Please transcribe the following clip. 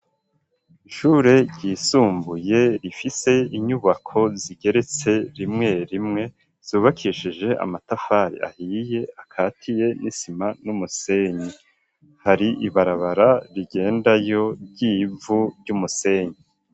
Ishure ryisumbuye rifise inyubako zigeretse rimwe rimwe, zubakishije amatafari ahiye akatiye n'isima n'umusenyi, hari ibarabara rigendayo ry'ivu ry'umusenyi.